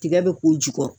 Tigɛ bɛ k'u jukɔrɔ